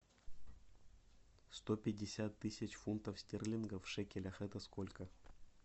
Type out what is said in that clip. сто пятьдесят тысяч фунтов стерлингов в шекелях это сколько